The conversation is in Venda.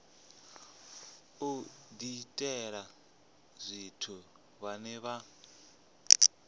u diitela tshithu vhane vha